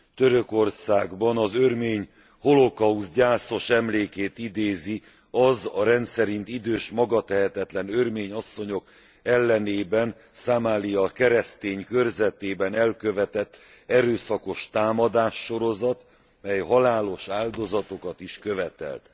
Törökországban az örmény holokauszt gyászos emlékét idézi az a rendszerint idős, magatehetetlen örmény asszonyok ellen, Samalya keresztény körzetében elkövetett erőszakos támadássorozat, mely halálos áldozatokat is követelt.